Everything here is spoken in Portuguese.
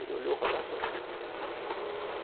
Ele olhou, falou assim: